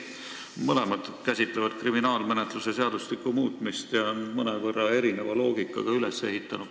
Mõlemad käsitlevad kriminaalmenetluse seadustiku muutmist ja on mõnevõrra erineva loogikaga üles ehitatud.